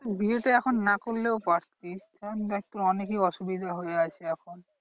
বিয়েটা এখন না করলেও পারতিস কারণ দেখ তোর অনেকই অসুবিধা হয়ে আছে এখন।